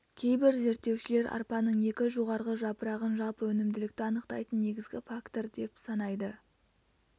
кейбір зерттеушілер арпаның екі жоғарғы жапырағын жалпы өнімділікті анықтайтын негізгі фактор деп санайды